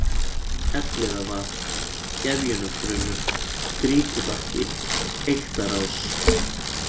Elliðavað, Gefjunarbrunnur, Grýtubakki, Eyktarás